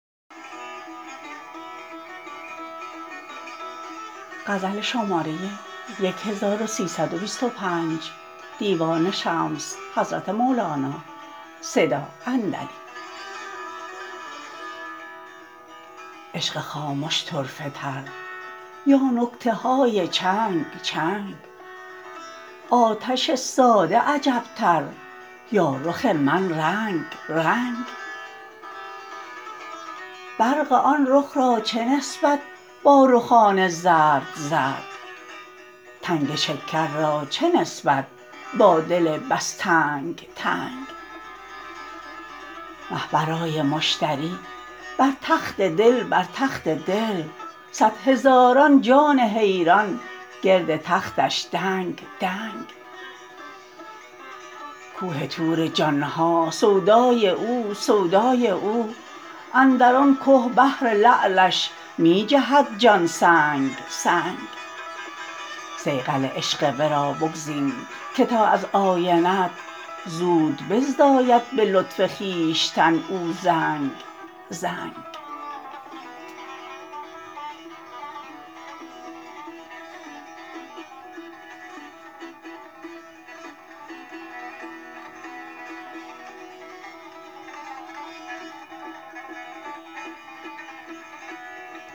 عشق خامش طرفه تر یا نکته های چنگ چنگ آتش ساده عجبتر یا رخ من رنگ رنگ برق آن رخ را چه نسبت با رخان زرد زرد تنگ شکر را چه نسبت با دل بس تنگ تنگ مه برای مشتری بر تخت دل بر تخت دل صد هزاران جان حیران گرد تختش دنگ دنگ کوه طور جان ها سودای او سودای او اندر آن که بهر لعلش می جهد جان سنگ سنگ صیقل عشق ورا بگزین که تا از آینه ات زود بزداید به لطف خویشتن او زنگ زنگ